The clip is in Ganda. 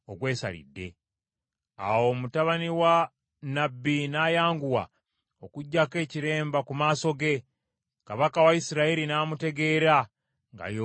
Awo mutabani wa nnabbi n’ayanguwa, okuggya ekiremba ku maaso ge, kabaka wa Isirayiri n’amutegeera nga y’omu ku bannabbi.